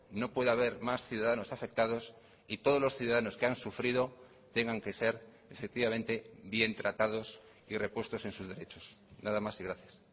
no puede haber más ciudadanos afectados y todos los ciudadanos que han sufrido tengan que ser efectivamente bien tratados y repuestos en sus derechos nada más y gracias